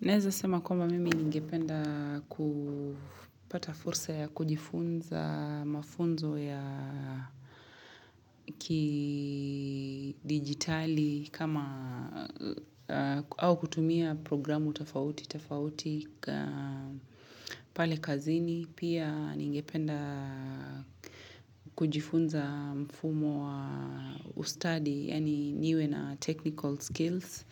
Neweza sema kwamba mimi ningependa kupata fursa ya kujifunza mafunzo ya kidigitali kama au kutumia programu tofauti, tofauti pale kazini. Pia ningependa kujifunza mfumo wa ustadi, yaani niwe na technical skills.